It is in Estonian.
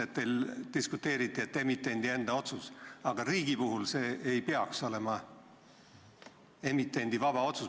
Teil ju diskuteeriti, et olgu see emitendi enda otsus, aga riigi puhul see ei peaks olema emitendi vaba otsus.